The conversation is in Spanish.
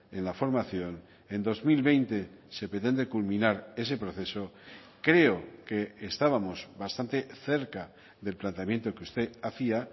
en la formación en dos mil veinte se pretende culminar ese proceso creo que estábamos bastante cerca del planteamiento que usted hacía